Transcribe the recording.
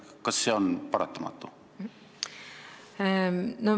Kas see on paratamatu?